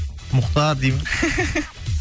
мұхтар дей ма